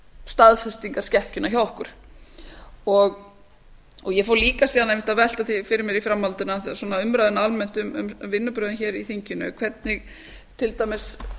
staðfesta staðfestingarskekkjuna hjá okkur ég fór líka síðan einmitt að velta því fyrir mér í framhaldinu svona umræðunni almennt um vinnubrögðin hér í þinginu hvernig til dæmis